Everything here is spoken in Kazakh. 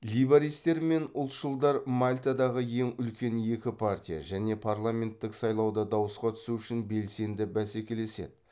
лейбористтер мен ұлтшылдар мальтадағы ең үлкен екі партия және парламенттік сайлауда дауысқа түсу үшін белсенді бәсекелеседі